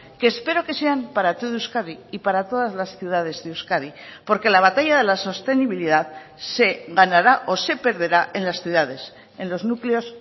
que espero que sean para todo euskadi y para todas las ciudades de euskadi porque la batalla de la sostenibilidad se ganará o se perderá en las ciudades en los núcleos